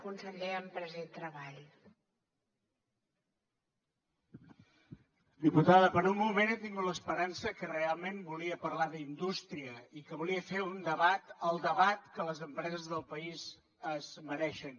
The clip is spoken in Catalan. diputada per un moment he tingut l’esperança que realment volia parlar d’indústria i que volia fer un debat el debat que les empreses del país es mereixen